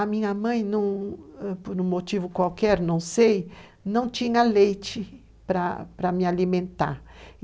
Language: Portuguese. A minha mãe, por um motivo qualquer, não tinha leite para me alimentar.